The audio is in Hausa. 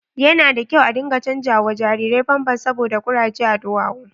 Yana da kyau a dinga chanza wa jariri pampas saboda kuraje a duwawu.